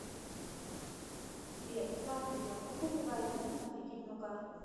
сбер здравствуйте а можно прибавить лимит на кредитную карту